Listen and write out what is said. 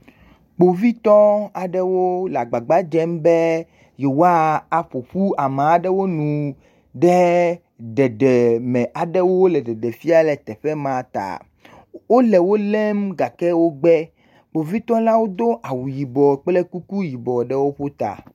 Kpovitɔ aeɖow le agbagba dzem be yewoaƒo ƒu ame aɖewo nu ɖe ɖeɖe me aɖe wole ɖeɖem fia la ta, Kpovitɔwo do awu yibɔ kple kuku yibɔ ɖe ta.